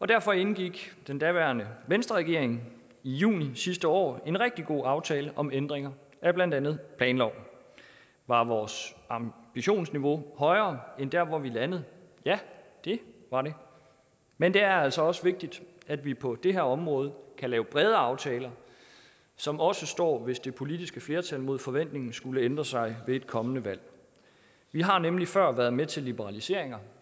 derfor indgik den daværende venstreregering i juni sidste år en rigtig god aftale om ændringer af blandt andet planloven var vores ambitionsniveau højere end der hvor vi landede ja det var det men det er altså også vigtigt at vi på det her område kan lave brede aftaler som også står hvis det politiske flertal mod forventning skulle ændre sig ved et kommende valg vi har nemlig før været med til liberaliseringer